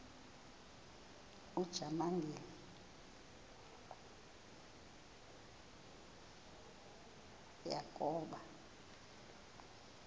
ujamangi le yakoba